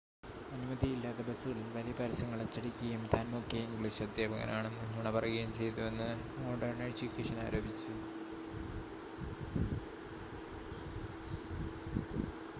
അനുമതിയില്ലാതെ ബസുകളിൽ വലിയ പരസ്യങ്ങൾ അച്ചടിക്കുകയും താൻ മുഖ്യ ഇംഗ്ലീഷ് അദ്ധ്യാപകനാണെന്ന് നുണ പറയുകയും ചെയ്തുവെന്ന് മോഡേൺ എഡ്യൂക്കേഷൻ ആരോപിച്ചു